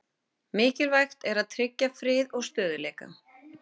Mikilvægt að tryggja frið og stöðugleika